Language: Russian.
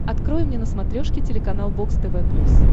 открой мне на смотрешке телеканал бокс тв плюс